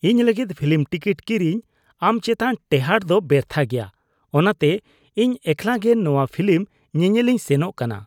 ᱤᱧ ᱞᱟᱹᱜᱤᱫ film ticket ᱠᱤᱨᱤᱧ ᱟᱢ ᱪᱮᱛᱟᱱ ᱴᱮᱦᱟᱴ ᱫᱚ ᱵᱮᱨᱛᱷᱟ ᱜᱮᱭᱟ, ᱚᱱᱟᱛᱮ ᱤᱧ ᱮᱠᱞᱟ ᱜᱮ ᱱᱚᱶᱟ ᱯᱷᱤᱞᱤᱢ ᱧᱮᱧᱮᱞᱤᱧ ᱥᱮᱱᱚᱜ ᱠᱟᱱᱟ ᱾